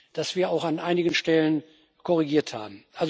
dass wir auch an einigen Stellen korrigiert haben.